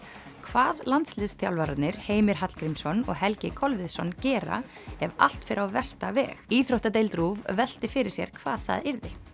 hvað landsliðsþjálfararnir Heimir Hallgrímsson og Helgi Kolviðsson gera ef allt fer á versta veg íþróttadeild RÚV velti fyrir sér hvað það yrði